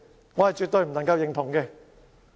對此，我絕對不能夠認同。